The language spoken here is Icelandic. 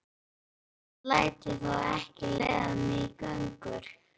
Þetta seinasta læt ég þó ekki leiða mig í gönur.